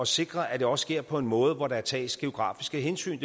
sikre at det også sker på en måde hvor der tages geografiske hensyn